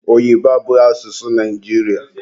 Oyibo abụghị asụsụ Naijiria